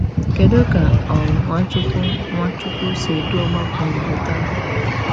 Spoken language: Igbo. Kedu ka um Nwachukwu Nwachukwu si edu ọgbakọ Igbo taa?